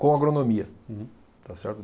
com agronomia. Uhum. Está certo?